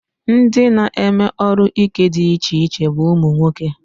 Ndị na-eme ọrụ ike dị iche iche bụ ụmụnwoke